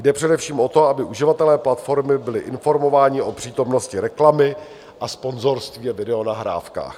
Jde především o to, aby uživatelé platformy byli informováni o přítomnosti reklamy a sponzorství a videonahrávkách.